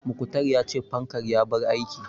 Muktar ya ce fankan ya bar aiki